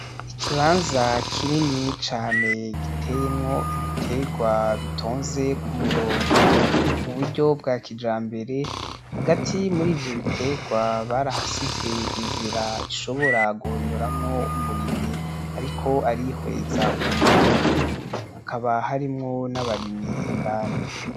Ikibanza kinini cane giteyemwo ibiterwa bitonze ku murongo mu buryo bwa kijambere hagati muri ivyo biterwa barahasize inzira ishobora guhonyoramwo umurimyi ariko arihweza uwo murima hakaba harimwo n'abarimyi indani.